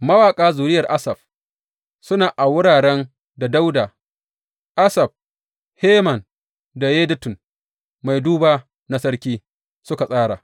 Mawaƙa zuriyar Asaf, suna a wuraren da Dawuda, Asaf, Heman da Yedutun mai duba na sarki suka tsara.